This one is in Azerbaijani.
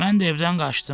Mən də evdən qaçdım.